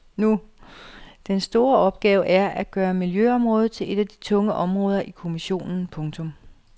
Den store opgave er at gøre miljøområdet til et af de tunge områder i kommissionen. punktum